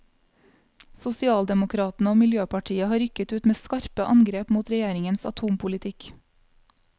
Sosialdemokratene og miljøpartiet har rykket ut med skarpe angrep mot regjeringens atompolitikk.